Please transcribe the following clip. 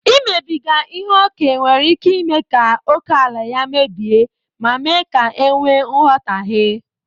Imebiga ihe ókè nwere ike ime ka ókèala ya mebie ma mee ka e nwee nghọtahie.